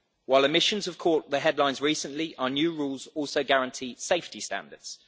While emissions have caught the headlines recently, our new rules also guarantee safety standards.